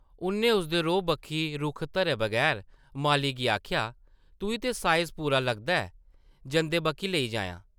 उʼन्नै उसदे रोहा बक्खी रुख धरे बगैर माली गी आखेआ, ‘‘तुई ते साइज़ पूरा लगदा ऐ, जंदे बाकी लेई जायां ।’’